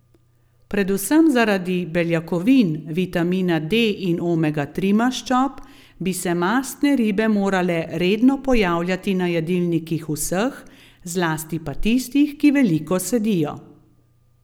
Predvsem zaradi beljakovin, vitamina D in omega tri maščob bi se mastne ribe morale redno pojavljati na jedilnikih vseh, zlasti pa tistih, ki veliko sedijo.